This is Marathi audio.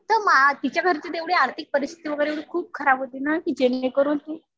तर तिच्या घरची तर एवढी आर्थिक परिस्थिती वगैरे खुप खराब होती ना कि जेणेकरून